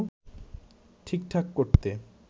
ঠিকঠাক করতে